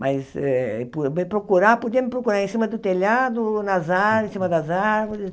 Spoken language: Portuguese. Mas eh po me procurar podia me procurar em cima do telhado, nas ár, em cima das árvores.